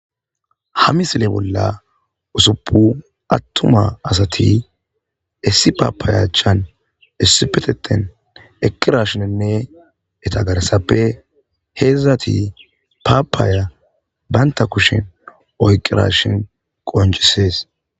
ha misile bolla usuppu attuma asati issi paapaayachan issipetetten eqirashininne eta garsappe heedzdzati paapaaya baynta kushin oyqqirashin qoncisees